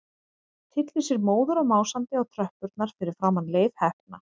Tyllir sér móður og másandi á tröppurnar fyrir framan Leif heppna.